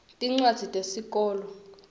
tincwadzi tesikolwa